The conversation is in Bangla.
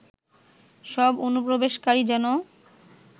সব অনুপ্রবেশকারী যেন